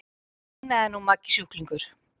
veinaði nú Maggi sjúklingur.